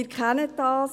Sie kennen das: